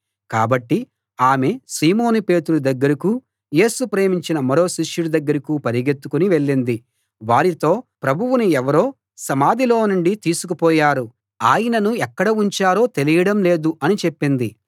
కాబట్టి ఆమె సీమోను పేతురు దగ్గరకూ యేసు ప్రేమించిన మరో శిష్యుడి దగ్గరకూ పరుగెత్తుకుని వెళ్ళింది వారితో ప్రభువును ఎవరో సమాధిలో నుండి తీసుకు పోయారు ఆయనను ఎక్కడ ఉంచారో తెలియడం లేదు అని చెప్పింది